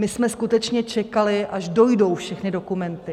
My jsme skutečně čekali, až dojdou všechny dokumenty.